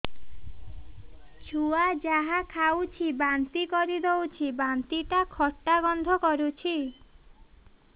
ଛୁଆ ଯାହା ଖାଉଛି ବାନ୍ତି କରିଦଉଛି ବାନ୍ତି ଟା ଖଟା ଗନ୍ଧ କରୁଛି